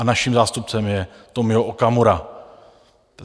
A naším zástupcem je Tomio Okamura.